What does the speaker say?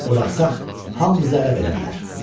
Buraxsaq hamımızı ələ verə bilər.